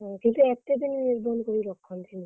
ହଁ କିନ୍ତୁ ଏତେ ଦିନ ନିର୍ବନ୍ଧ କରି ରଖନ୍ତିନି।